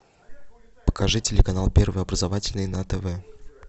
покажи телеканал первый образовательный на тв